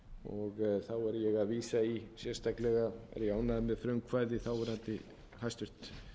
og þá er ég að vísa í að sérstaklega er ég ánægður með frumkvæði þáverandi hæstvirtur